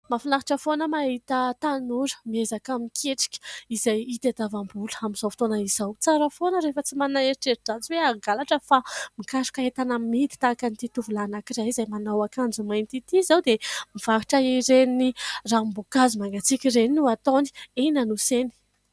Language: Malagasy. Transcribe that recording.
Mahafinaritra foana mahita tanora miezaka miketrika izay hitadiavam-bola amin'izao fotoana izao, tsara foana rehefa tsy manana eritreri-dratsy hoe hangalatra fa mikaroka entana amidy ; tahaka an'ity tovolahy anankiray izay manao akanjo mainty ity izao dia mivarotra ireny ranomboankazo mangatsiaka ireny no ataony eny Anosy eny.